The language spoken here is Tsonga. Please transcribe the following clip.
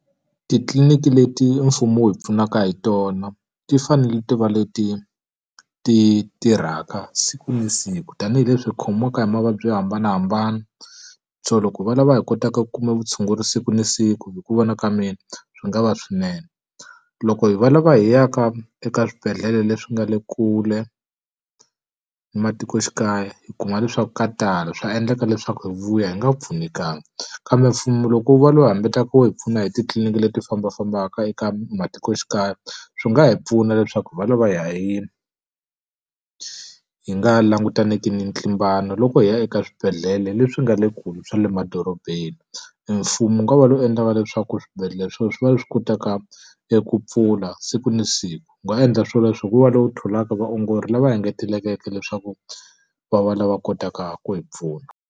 Titliliniki leti mfumo wu hi pfunaka hi tona ti fanele ti va leti ti tirhaka siku na siku. Tanihi leswi hi khomiwaka hi mavabyi yo hambanahambana, so loko va lava hi kotaka ku kuma vutshunguri siku na siku hi ku vona ka mina swi nga va swinene. Loko hi va lava hi ya ka eka swibedhlele leswi nga le kule ni matikoxikaya hi kuma leswaku ka tala, swa endleka leswaku hi vuya hi nga pfunekanga. Kambe mfumo loko wu va lowu hambaka wo hi pfuna hi titliliniki leti fambafambaka eka matikoxikaya, swi nga hi pfuna leswaku hi va lava hi nga langutaniki ni ntlimbano loko hi ya eka swibedhlele leswi nga le kule swa le madorobeni. E mfumo wu nga va lowu endlaka leswaku swibedhlele swi va leswi kotaka eku pfula siku na siku. Wu nga endla swoleswo hi ku va lowu tholaka vaongori lava engetelekeke leswaku va va lava kotaka ku hi pfuna.